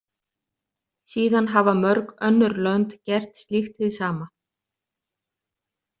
Síðan hafa mörg önnur lönd gert slíkt hið sama.